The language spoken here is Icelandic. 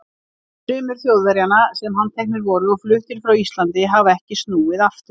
Sumir Þjóðverjanna, sem handteknir voru og fluttir frá Íslandi, hafa ekki snúið aftur.